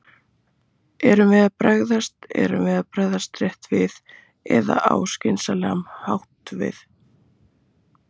Erum við að bregðast, erum við að bregðast rétt við eða á skynsamlegan hátt við?